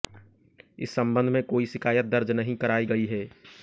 इस संबंध में कोई शिकायत दर्ज नहीं कराई गई है